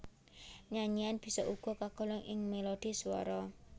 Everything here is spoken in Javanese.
Nyanyian bisa uga kagolong ing melodhi swara